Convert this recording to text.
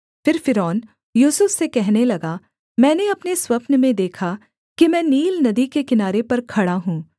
फिर फ़िरौन यूसुफ से कहने लगा मैंने अपने स्वप्न में देखा कि मैं नील नदी के किनारे पर खड़ा हूँ